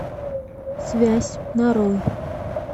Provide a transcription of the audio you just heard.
связь нарой